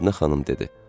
Mədinə xanım dedi: